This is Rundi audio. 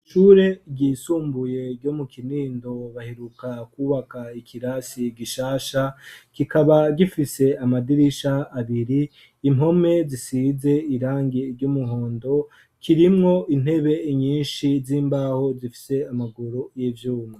Ishure ryisumbuye ryo mu Kinindo baheruka kwubaka ikirasi gishasha, kikaba gifise amadirisha abiri. Impome zisize irangi ry'umuhondo, kirimwo intebe nyinshi z'imbaho zifise amaguru y'ivyuma.